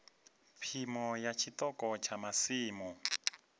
phimo ya tshiṱoko tsha masimu